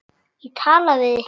Tala við þig.